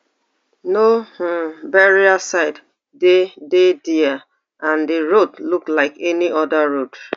no um burial site dey dey dia and di road look like any oda road